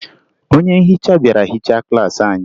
Onye nhicha bịara hichaa klaasị anyị